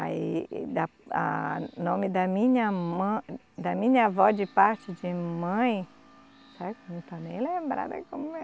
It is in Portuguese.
Aí, da a, nome da minha mã, da minha vó de parte de mãe eu não estou nem lembrada como é.